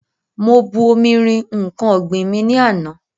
Mo bu omi rin nǹkan ọ̀gbìn mi ní àná.